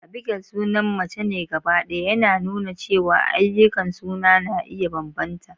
Abigail sunan mace ne gabaɗaya, yana nuna cewa ayyukan suna na iya bambanta.